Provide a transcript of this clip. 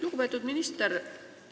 Lugupeetud minister!